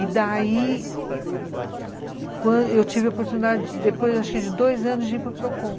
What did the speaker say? E daí, quando eu tive a oportunidade, depois acho que de dois anos, de ir para Procon.